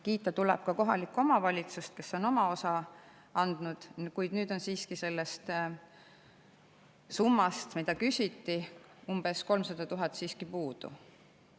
Kiita tuleb ka kohalikku omavalitsust, kes on oma osa andnud, kuid nüüd on siiski sellest summast, mida küsiti, umbes 300 000 eurot puudu.